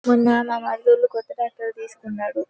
మొన్న మ మరిదోళ్లు కొత్త ట్రాక్టర్ తీసుకునరు.